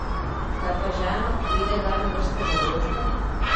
Kaj pa žena, pride kdaj na vrsto za vožnjo?